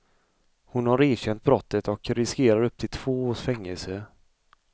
Hon har erkänt brottet och riskerar upp till två års fängelse.